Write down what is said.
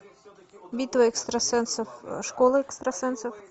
битва экстрасенсов школа экстрасенсов